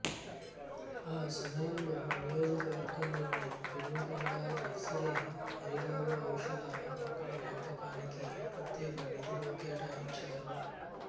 ఆ సమయంలో నియోజకవర్గంలోని పెడిమికొండ నర్సరీ ఆరిలోవ జౌషధ మొక్కల పెంపకానికి ప్రత్యేక నిధులు కేటాయించారు